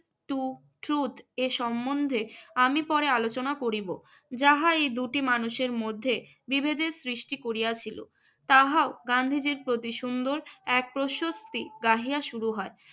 Two truth এর সম্বন্ধে আমি পরে আলোচনা করিব। যাহা এই দুটি মানুষের মধ্যে বিভেদের সৃষ্টি করিয়াছিল, তাহাও গান্ধীজীর প্রতি সুন্দর এক প্রশস্তি গাহিয়া শুরু হয়।